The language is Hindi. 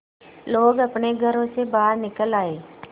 लोग अपने घरों से बाहर निकल आए